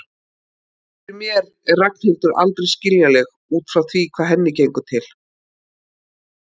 Fyrir mér er Ragnhildur aldrei skiljanleg út frá því hvað henni gengur til.